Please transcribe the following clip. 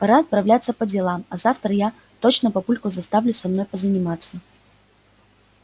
пора отправляться по делам а завтра я точно папульку заставлю со мной позаниматься